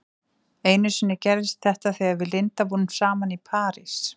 Einu sinni gerðist þetta þegar við Linda vorum saman í París.